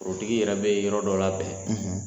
O tigi yɛrɛ bɛ yɔrɔ dɔ labɛn